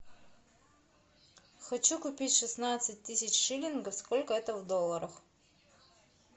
хочу купить шестнадцать тысяч шиллингов сколько это в долларах